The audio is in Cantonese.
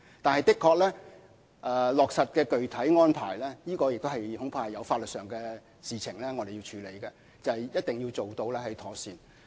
但是，在落實具體安排方面的確有法律事宜需要處理，並且一定要做得妥善。